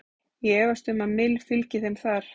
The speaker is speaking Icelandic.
Ég efast um að Mill fylgi þeim þar.